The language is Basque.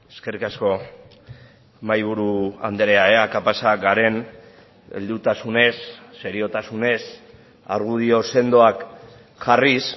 eskerrik asko mahaiburu andrea ea kapazak garen heldutasunez seriotasunez argudio sendoak jarriz